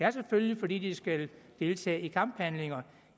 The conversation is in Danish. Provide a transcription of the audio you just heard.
er selvfølgelig fordi de skal deltage i kamphandlinger